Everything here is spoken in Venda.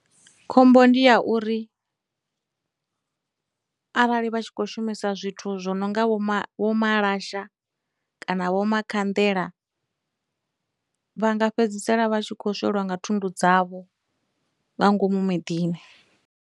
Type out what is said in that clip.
Khombo ndi ya uri arali vha tshi khou shumisa zwithu zwo no nga vho ma, vho malasha, kana vho makhanḓela vha nga fhedzisela vha tshi khou swela nga thundu dzavho nga ngomu miḓini.